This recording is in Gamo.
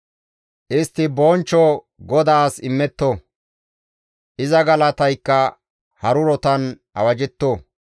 Istti bonchcho GODAAS immetto; iza galataykka harurotan awajjetto.